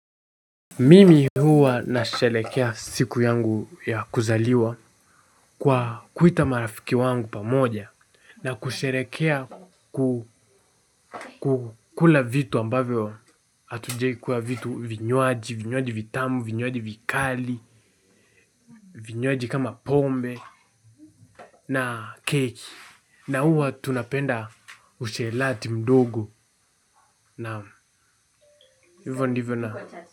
Mimi huwa nasherehekea siku yangu ya kuzaliwa kwa kuita marafiki wangu pamoja na kusherehekea kukula vitu ambavyo hatujawahi kula vitu vinywaji, vinywaji vitamu, vinywaji vikali, vinywaji kama pombe na keki na huwa tunapenda ushelati mdogo na hivyo ndivyo na.